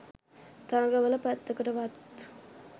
තරඟ වල පැත්තකටවත්